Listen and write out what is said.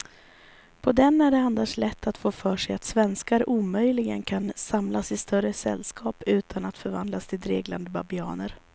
På den är det annars lätt att få för sig att svenskar omöjligen kan samlas i större sällskap utan att förvandlas till dreglande babianer.